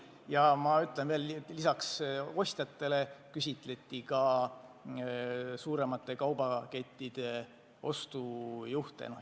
Ja ma kordan, et lisaks ostjatele küsitleti ka suuremate kaubakettide ostujuhte.